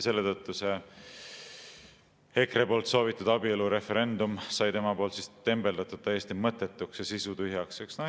Selle tõttu sai EKRE soovitud abielureferendum tema poolt tembeldatud täiesti mõttetuks ja sisutühjaks.